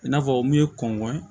I n'a fɔ min ye kɔnkɔ ye